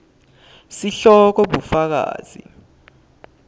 sihloko bufakazi